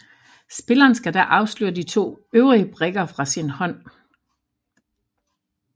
Spilleren skal da afsløre de to øvrige brikker fra sin hånd